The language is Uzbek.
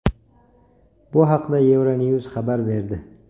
Bu haqda Euronews xabar berdi .